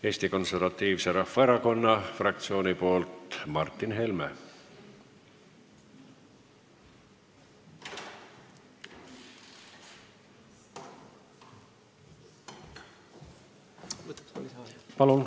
Eesti Konservatiivse Rahvaerakonna fraktsiooni nimel Martin Helme.